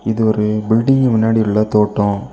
இது ஒரு பில்டிங் முன்னாடி உள்ள தோட்டோ.